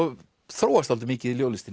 þróast dálítið mikið í